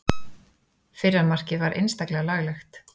Fyrra markið var einstaklega laglegt.